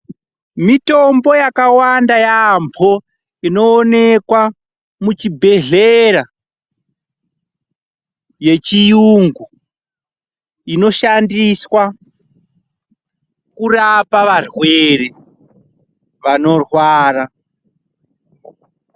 Mitombo yakawanda yaampho inoonekwa muchibhedhlera yechiyungu inoshandiswa kurapa varwere vanorwara.